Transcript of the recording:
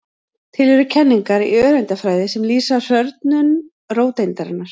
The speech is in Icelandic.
Til eru kenningar í öreindafræði sem lýsa hrörnun róteindarinnar.